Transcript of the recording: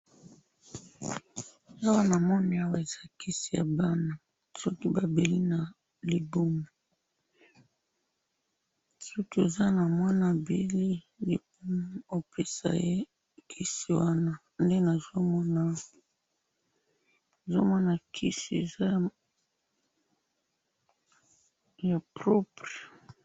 awa namoni awa eza kisi ya bana soki ba beli na libumu, soki oza na mwana abeli libumu, opesa ye kisi wana, nde nazo mona awa, nazo mona kisi eza ya propre